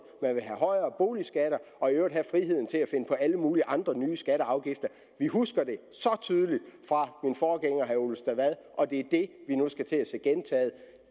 man vil have højere boligskatter og i øvrigt have friheden til at finde på alle mulige andre nye skatter og afgifter vi husker det så tydeligt fra min forgænger herre ole stavad og det er det vi nu skal til at se gentaget